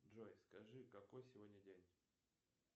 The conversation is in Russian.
джой скажи какой сегодня день